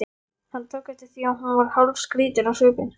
Hann tók eftir því að hún varð hálfskrýtin á svipinn.